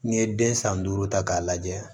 N'i ye den san duuru ta k'a lajɛ